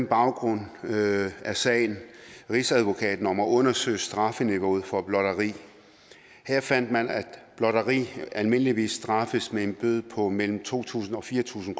baggrund af sagen rigsadvokaten om at undersøge strafniveauet for blotteri her fandt man at blotteri almindeligvis straffes med en bøde på mellem to tusind og fire tusind